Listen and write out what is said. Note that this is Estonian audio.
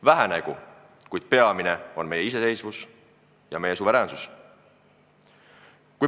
Vähenegu – peamine on meie iseseisvus, meie suveräänsus.